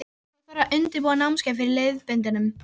Svo þarf að undirbúa námskeiðið með leiðbeinandanum.